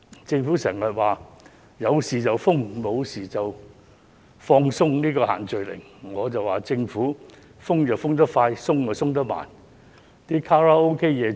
政府經常說有事才封，無事便會放鬆限聚令，但我認為政府是"封得快，鬆得慢"。